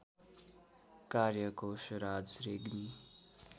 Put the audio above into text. कार्य कोशराज रेग्मी